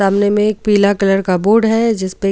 सामने में एक पीला कलर का बोर्ड है जिसमें.